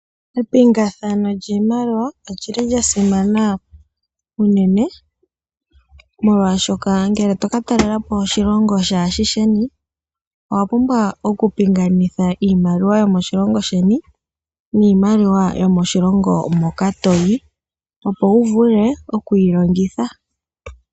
Epingathano lyiimaliwa olyili lyasimana unene molwaashoka uuna toka talelapo oshilongo shilwe owapumbwa okupinganitha iimaliwa yomoshilongo sheni niimaliwa yomoshilongo yaamoka toyi opo wuvule okukeyilongitha.